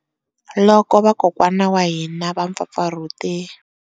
Loko vakokwana wa hina va mpfapfarhute.